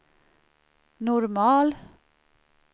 normal